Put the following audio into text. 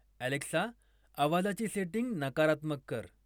Alexa आवाजाची setting नकारात्मक कर